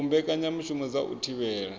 u mbekanyamushumo dza u thivhela